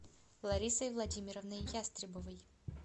ларисой владимировной ястребовой